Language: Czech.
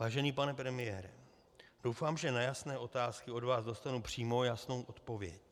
Vážený pane premiére, doufám, že na jasné otázky od vás dostanu přímo jasnou odpověď.